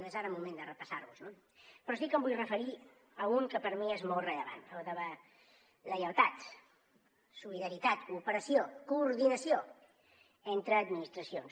no és ara moment de repassar los no però sí que em vull referir a un que per mi és molt rellevant el de la lleialtat solidaritat cooperació coordinació entre administracions